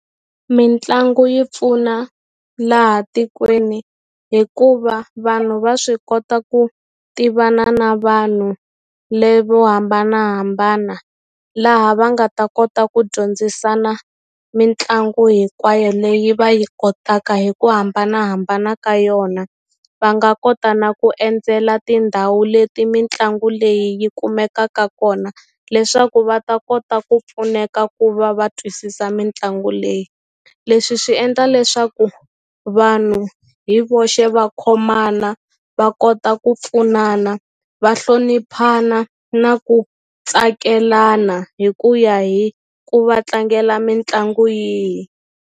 Mitlangu yi pfuna laha tikweni hikuva vanhu va swi kota ku tivana na vanhu levo hambanahambana laha va nga ta kota ku dyondzisana mitlangu hinkwayo leyi va yi kotaka hi ku hambanahambana ka yona va nga kota na ku endzela tindhawu leti mitlangu leyi yi kumekaka kona leswaku va ta kota ku pfuneka ku va va twisisa mitlangu leyi leswi swi endla leswaku vanhu hi voxe va khomana va kota ku pfunana va hloniphana na ku tsakelana hi ku ya hi ku va tlangela mitlangu yihi.